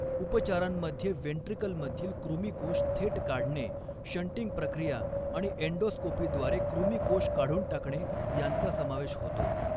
उपचारांमध्ये वेंट्रिकलमधील कृमीकोष थेट काढणे, शंटिंग प्रक्रिया आणि अँडोस्कोपीद्वारे कृमीकोष काढून टाकणे यांचा समावेश होतो.